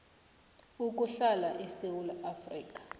ukuhlala esewula afrika